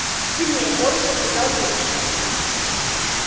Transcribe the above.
сильнее коротко сказал юноша